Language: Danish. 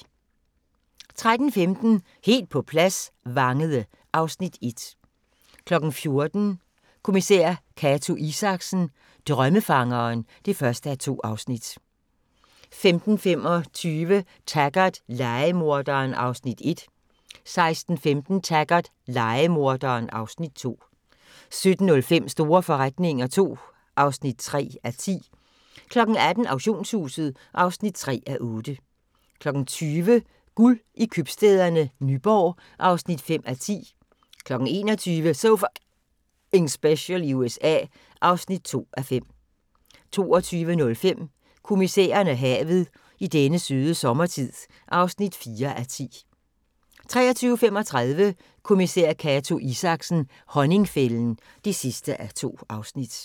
13:15: Helt på plads – Vangede (Afs. 1) 14:00: Kommissær Cato Isaksen: Drømmefangeren (1:2) 15:25: Taggart: Lejemorderen (Afs. 1) 16:15: Taggart: Lejemorderen (Afs. 2) 17:05: Store forretninger II (3:10) 18:00: Auktionshuset (3:8) 20:00: Guld i købstæderne Nyborg (5:10) 21:00: So F***ing Special i USA (2:5) 22:05: Kommissæren og havet: I denne søde sommertid (4:10) 23:35: Kommissær Cato Isaksen: Honningfælden (2:2)